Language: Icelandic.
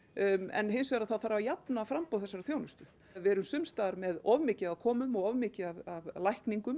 en hins vegar þarf að jafna framboð þessarar þjónustu við erum sums staðar með of mikið af komum og of mikið af lækningum